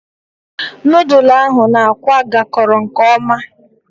Nudulu ahu na-akwa gakoro nke oma